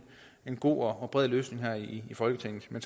god og bred løsning her i folketinget men